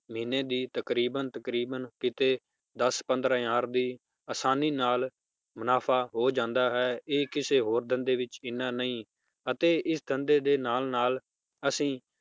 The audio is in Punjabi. ਮਹੀਨੇ ਦੀ ਤਕਰੀਬਨ ਤਕਰੀਬਨ ਕੀਤੇ ਦੱਸ ਪੰਦ੍ਰਹ hour ਦੀ ਆਸਾਨੀ ਨਾਲ ਮੁਨਾਫ਼ਾ ਹੋ ਜਾਂਦਾ ਹੈ ਇਹ ਕਿਸੇ ਹੋਰ ਧੰਦੇ ਵਿਚ ਇਹਨਾਂ ਨਹੀਂ, ਅਤੇ ਇਸ ਧੰਦੇ ਦੇ ਨਾਲ ਨਾਲ ਅਸੀਂ